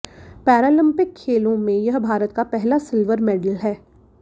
Paralympic खेलों में यह भारत का पहला सिल्वर मेडल है